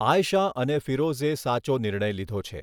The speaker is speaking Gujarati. આયશા અને ફિરોઝે સાચો નિર્ણય લીધો છે.